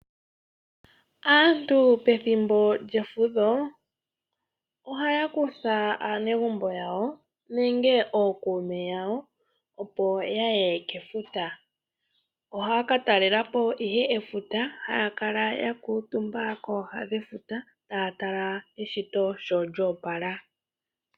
Aantu pethimbo lyefudho ohaya kutha aakwanezimo yawo nenge ookuume yawo opo yaue kefuta ohaya katalelapo ihe efuta haya kala yakuutumba kooha dhefuta taya tala eshito shilya opala.